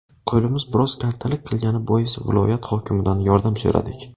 Qo‘limiz biroz kaltalik qilgani bois viloyat hokimidan yordam so‘radik.